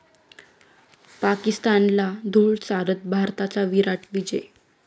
पाकिस्तानला धूळ चारत, भारताचा 'विराट' विजय